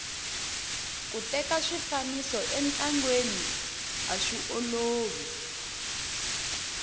ku teka swifaniso entlangeni aswiolovi